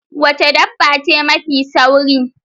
Wace dabba ce mafi sauri?